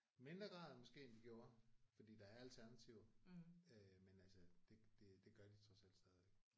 Mindre grad måske end de gjorde fordi der er alternativer øh men altså det det det gør de trods alt stadigvæk